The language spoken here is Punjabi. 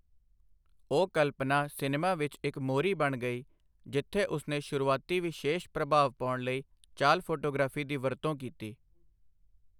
ਉਹ ਕਲਪਨਾ ਸਿਨੇਮਾ ਵਿੱਚ ਇੱਕ ਮੋਹਰੀ ਬਣ ਗਈ ਜਿੱਥੇ ਉਸਨੇ ਸ਼ੁਰੂਆਤੀ ਵਿਸ਼ੇਸ਼ ਪ੍ਰਭਾਵ ਪਾਉਣ ਲਈ ਚਾਲ ਫੋਟੋਗ੍ਰਾਫੀ ਦੀ ਵਰਤੋਂ ਕੀਤੀ।